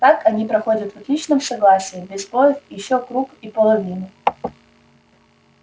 так они проходят в отличном согласии без сбоёв ещё круг и половину